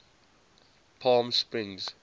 palmsprings